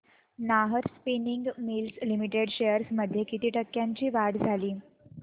Nahar spinning mills limited shares मध्ये किती टक्क्यांची वाढ झाली